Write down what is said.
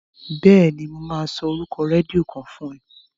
Bẹ́ẹ̀ni, mo máa sọ orúkọ rédíò kan fún ẹ.